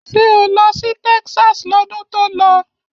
Ṣé o lọ sí Texas lọ́dún tó lọ?